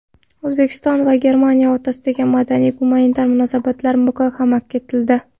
O‘zbekiston va Germaniya o‘rtasidagi madaniy-gumanitar munosabatlar muhokama etildi.